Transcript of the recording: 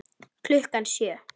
Klukkan sjö.